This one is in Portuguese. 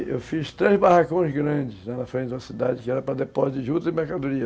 E eu fiz três barracões grandes lá na frente da cidade, que era para depósito de jutas e mercadoria.